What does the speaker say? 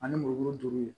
Ani muru duuru